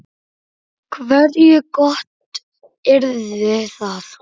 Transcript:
Hversu gott yrði það?